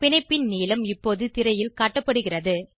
பிணைப்பின் நீளம் இப்போது திரையில் காட்டப்படுகிறது